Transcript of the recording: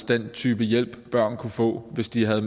den type hjælp børn kunne få hvis de havde